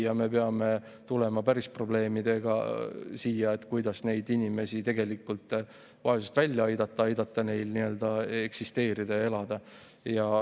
Ja me peame tulema siia päris probleemidega, et arutada, kuidas neid inimesi vaesusest välja tuua, aidata neil eksisteerida ja elada.